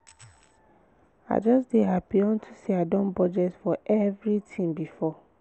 i just dey happy unto say i don budget for everything before